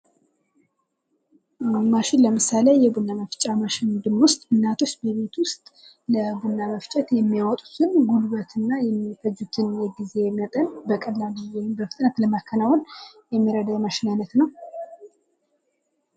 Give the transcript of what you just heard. ማሽን ለምሳሌ የቡና መፍጫ ማሽንን ብንወስድ እናቶች በቤት ዉስጥ ለቡና መፍጫ የሚያወጡትን ጉልበት እና የጊዜ መጠን በቀላሉ ወይም በፍጥነት ለማከናወን የሚረዳ የማሽን አይነት ነዉ።